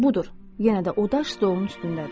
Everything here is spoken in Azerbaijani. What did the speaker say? Və budur, yenə də o daş stolun üstündədir.